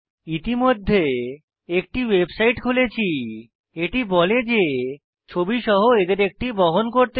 ইতিমধ্যে একটি ওয়েবসাইট খুলেছি এটি বলে যে ছবি সহ এদের একটি বহন করতে হবে